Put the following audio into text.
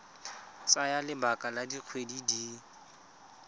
tsaya lebaka la dikgwedi di